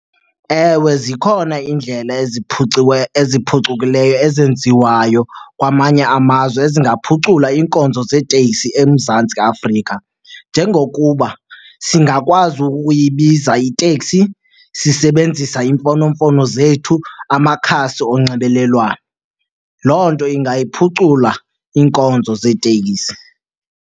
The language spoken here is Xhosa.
Ewe, zikhona iindlela eziphucukileyo ezenziwayo kwamanye amazwe ezingaphucula iinkonzo zeeteksi eMzantsi Afrika. Njengokuba singakwazi ukuyibiza iteksi sisebenzisa iimfonomfono zethu, amakhasi onxibelelwano, loo nto ingayiphucula iinkonzo zeetekisi.